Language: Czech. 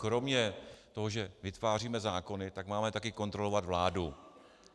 Kromě toho, že vytváříme zákony, tak máme taky kontrolovat vládu.